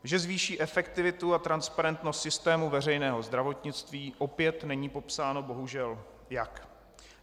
Že zvýší efektivitu a transparentnost systému veřejného zdravotnictví - opět není popsáno, bohužel, jak.